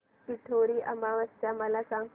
पिठोरी अमावस्या मला सांग